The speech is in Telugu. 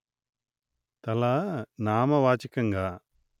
తల నామవాచకంగా